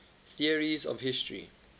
theories of history